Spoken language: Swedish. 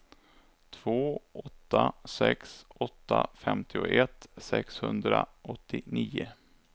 två åtta sex åtta femtioett sexhundraåttionio